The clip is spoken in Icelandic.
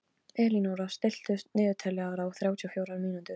Elínóra, stilltu niðurteljara á þrjátíu og fjórar mínútur.